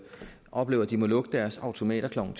oplever at de må lukke deres automater klokken